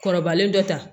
Kɔrɔbalen dɔ ta